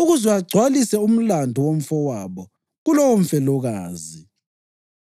ukuze agcwalise umlandu womfowabo kulowomfelokazi.